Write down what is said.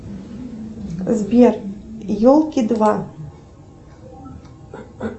сбер елки два